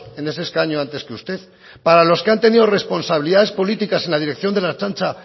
en ese escaño antes que usted para los que han tenido responsabilidades políticas en la dirección de la ertzaintza